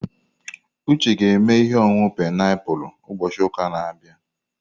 Uche ga-eme ihe ọṅụṅụ painiapulu ụbọchị ụka na-abịa.